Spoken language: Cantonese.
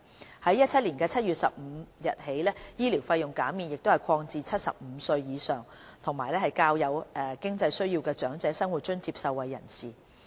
自2017年7月15日起，醫療費用減免亦已擴展至75歲或以上及較有經濟需要的長者生活津貼受惠人士。